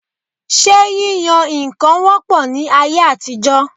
Ṣé yíyan nǹkan wọ́ pọ̀ ní ayé àtijọ?